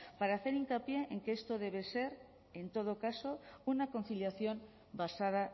para hacer hincapié en que esto debe ser en todo caso una conciliación basada